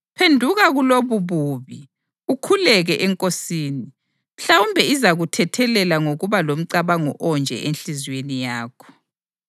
Phenduka kulobububi ukhuleke eNkosini. Mhlawumbe izakuthethelela ngokuba lomcabango onje enhliziyweni yakho.